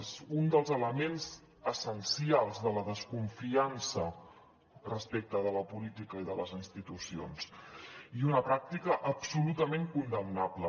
és un dels elements essencials de la desconfiança respecte de la política i de les institucions i una pràctica absolutament condemnable